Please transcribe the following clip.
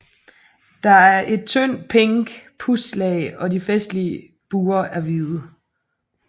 Der er et tyndt pink pudslag og de festlige buer er hvide